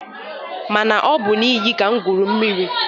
Mana ọ bụ n'iyi ka m gwuru mmiri.